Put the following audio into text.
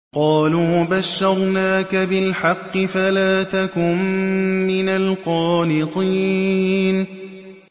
قَالُوا بَشَّرْنَاكَ بِالْحَقِّ فَلَا تَكُن مِّنَ الْقَانِطِينَ